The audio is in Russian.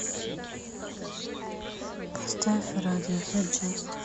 поставь радиохэд джаст